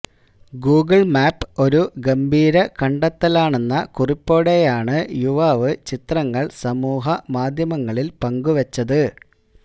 Google map ഒരു ഗംഭീര കണ്ടെത്തലാണെന്ന കുറിപ്പോടെയാണ് യുവാവ് ചിത്രങ്ങൾ സമൂഹമാധ്യമങ്ങളിൽ പങ്കുവച്ചത്